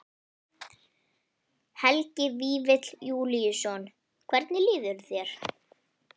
Helgi Vífill Júlíusson: Hvernig líður þér?